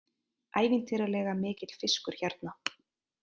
Ævintýralega mikill fiskur hérna